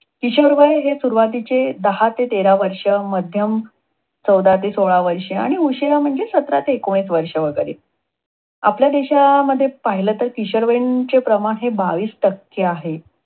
किशोरवय हे सुरुवातीचे दहा ते तेरा वर्ष, मध्यम चौदा ते सोळा वर्ष, आणि उशिरा म्हणजे सतारा ते एकोणीस वर्ष वगैरे. आपल्या देशामध्ये पाहिलं तर किशोरवयीन चे प्रमाण हे बावीस टक्के आहे.